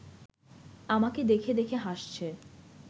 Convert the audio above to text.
আমাকে দেখে দেখে হাসছে